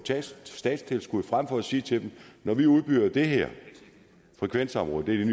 statstilskud frem for at vi siger til dem når vi udbyder det her frekvensområde det er